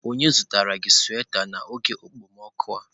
Onye zụtara gị sweta n'oge okpomọkụ a?